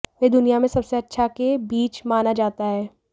वे दुनिया में सबसे अच्छा के बीच माना जाता है